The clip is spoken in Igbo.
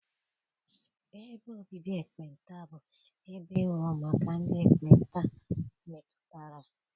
Ebe obibi ekpenta bụ ebe e wuru maka ndị ekpenta metụtara.